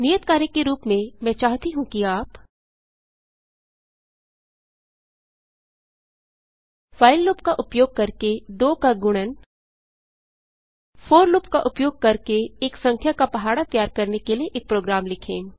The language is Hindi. नियत कार्य के रूप में मैं चाहती हूँ कि आप व्हाइल लूप का उपयोग करके 2 का गुणन फोर लूप का उपयोग करके एक संख्या का पहाड़ा तैयार करने के लिए एक प्रोग्राम लिखें